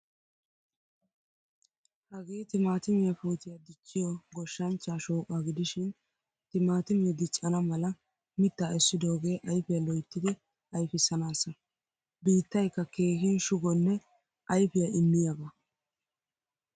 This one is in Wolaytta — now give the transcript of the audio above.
Hagee timatimiyaa puutiyaa dichchiyo goshshanchcha shooqqa gidishin timatime diccana mala mitta essidoge ayfiyaa loyttidi ayfisanasa. Biittaykka keehin shugonne ayfiyaa immiyaaga.